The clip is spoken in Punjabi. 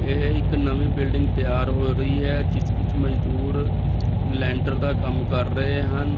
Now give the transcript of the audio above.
ਇਹ ਇੱਕ ਨਵੀਂ ਬਿਲਡਿੰਗ ਤਿਆਰ ਹੋ ਰਹੀ ਹੈ ਜਿਸ ਵਿੱਚ ਮਜ਼ਦੂਰ ਲੈਂਟਰ ਦਾ ਕੰਮ ਕਰ ਰਹੇ ਹਨ।